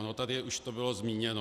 Ono to už tady bylo zmíněno.